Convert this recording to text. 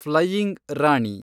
flying Rani